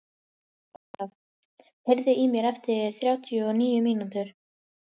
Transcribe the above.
Ólaf, heyrðu í mér eftir þrjátíu og níu mínútur.